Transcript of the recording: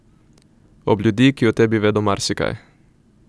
Ob ljudi, ki o tebi vedo marsikaj.